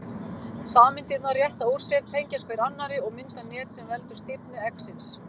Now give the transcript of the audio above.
Sameindirnar rétta úr sér, tengjast hver annarri og mynda net sem veldur stífni eggsins.